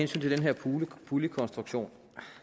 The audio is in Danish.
til den her puljekonstruktion